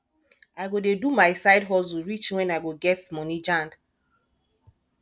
i go dey do my side hustle reach wen i go get money jand